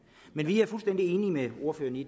vi er fuldstændig enige med ordføreren i